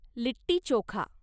litti chokha